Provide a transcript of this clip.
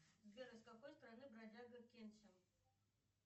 сбер из какой страны бродяга кэнсин